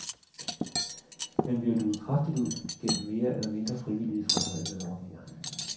Men vi har luget kraftigt ud gennem mere eller mindre frivillige fratrædelsesordninger.